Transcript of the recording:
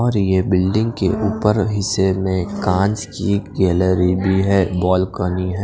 और ये बिल्डिंग के उपर के हिस्से में कांच की एक गैलरी भी हैं बालकनी --